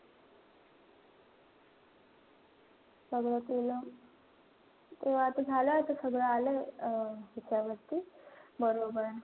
सगळं केलं. तेव्हा आता झाला आता सगळं आलंय. अं त्याच्यावरती बरोबर.